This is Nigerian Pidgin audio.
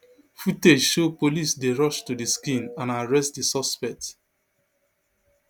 footage show police dey rush to di scene and arrest di suspect